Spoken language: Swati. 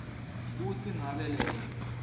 kutsi ngabe lelo